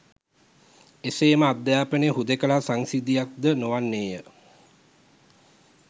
එසේම අධ්‍යාපනය හුදෙකලා සංසිද්ධියක් ද නොවන්නේය